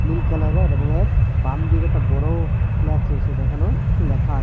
এই কালারের এবং এর বামদিকে একটা বড় ফ্ল্যাক্স রয়সে যেখানেও কিছু ল্যাখা আ--